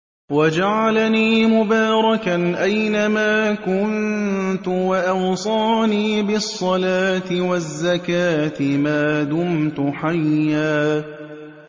وَجَعَلَنِي مُبَارَكًا أَيْنَ مَا كُنتُ وَأَوْصَانِي بِالصَّلَاةِ وَالزَّكَاةِ مَا دُمْتُ حَيًّا